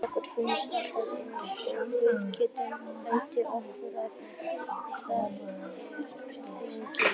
Okkur finnst alltaf eins og við getum bætt okkur og það er þannig.